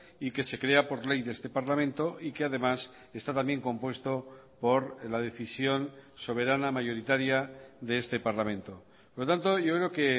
y que se crea por ley de este parlamento y que además está también compuesto por la decisión soberana mayoritaria de este parlamento por lo tanto yo creo que